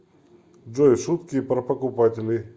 джой шутки про покупателей